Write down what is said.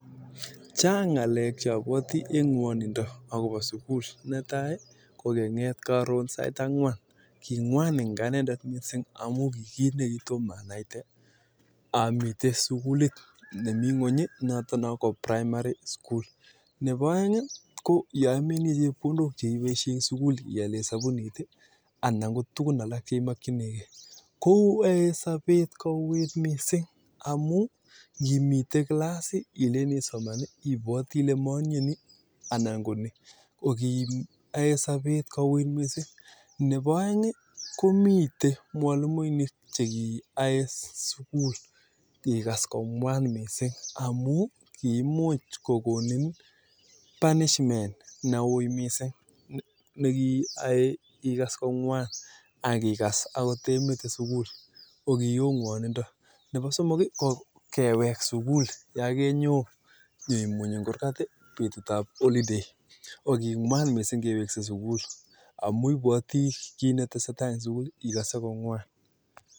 Netai kokenget karon sait angwan kimwan missing nebo aeng ko yamennyie chepkondok che ibaishei koyae sabet kouwit missing neboo somong ko kanetik chekonuu (punishment) nemwan missing koraa ko yakiyatee sukul